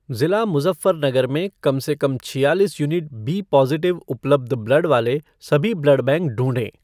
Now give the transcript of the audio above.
ज़िला मुज़फ़्फ़रनगर में कम से कम छियालीस यूनिट बी पॉजिटिव उपलब्ध ब्लड वाले सभी ब्लड बैंक ढूँढें।